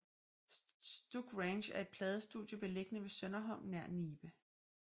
Stuk Ranch er et pladestudie beliggende ved Sønderholm nær Nibe